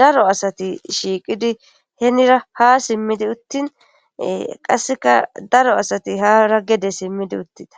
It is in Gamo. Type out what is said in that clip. daro asati shiiqidi henira ha simmidi uttin qasseka daro asati haara gede simmidi uttida